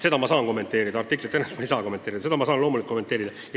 Seda ma saan kommenteerida, artiklit mitte.